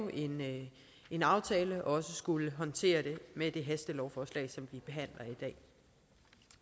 en aftale og også skulle håndtere det med det hastelovforslag som